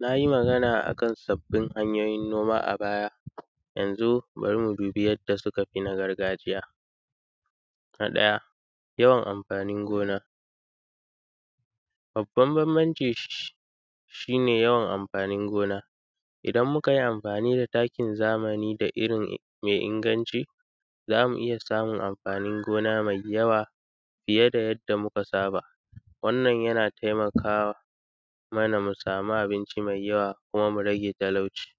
Nayi magana akan sabbin hanyoyin noma a baya. Yanzu bari mubi yanda sukafi na gargajiya. Na ɗaya yawan mafanin gona, babban banbanci shine yawan amfanin gona idan mukayi amfani da takin zamani da irri mai inganci zamu iyya samun amfanin gona mai yawa fiye da yanda muka saba. Wannan yana taimaka mana mu samu abinci mai yawa kuma murage talauci.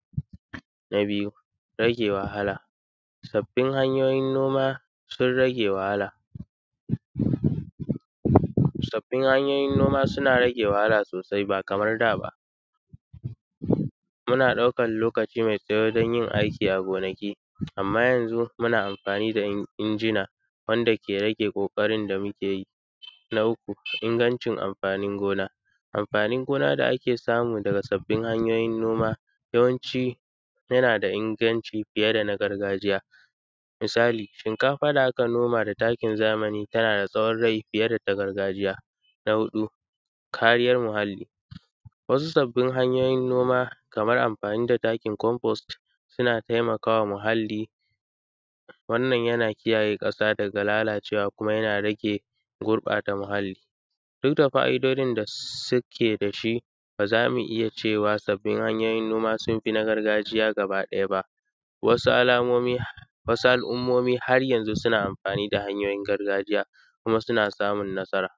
Na biyu rage wahala sabbin hanyoyin noma sun rage wahala, sabbin hanyoyin noma suna rage wahala sosai ba kamar da ba. Muna ɗaukan lokaci mai tsawo danyin aiki a gonaki, amma yanzu muna amfani da injina wanda ke rage ƙoƙarin da mukeyi. Na uku ingancin amfanin gona, amfanin gona da’ake samu daga sabbin hanyoyin noma yawanci yana da inganci fiye da na gargajiya. Misali shinkafa da aka noma da taki zamani tanada tsawon rai fiye da na gargajiya. Na huɗu kariyar muhalli wasu sabbin hanyoyin noma Kaman amfani da takin komfost yana taimakawa muhalli, wannan yana kiyaye ƙasa daga lalacewa kuma yana rage gurɓata muhalli. Dukda fa’idodin da suke dashi bazamu iyya cewa sabbin hanyoyin noma sunfi na gargajiya gaba ɗaya ba wasu al’ummomi har yanzu suna amfani da hanyoyin gargajiya kuma suna samun nasara